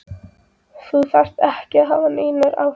Þú þarft ekki að hafa neinar áhyggjur.